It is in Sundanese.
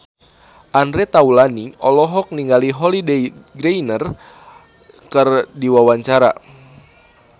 Andre Taulany olohok ningali Holliday Grainger keur diwawancara